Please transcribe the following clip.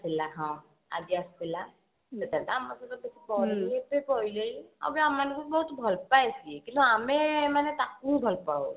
ଥିଲା ହଁ ଆଜି ଆସିଥିଲା ଆଉ ବି ଆମମାନଙ୍କୁ ବହୁତ ଭଲ ପାଏ ସିଏ ମାନେ କିନ୍ତୁ ଆମେ ମାନେ ତାକୁ ଭଲ ପାଉ